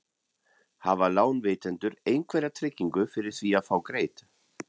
Hafa lánveitendur einhverja tryggingu fyrir því að fá greitt?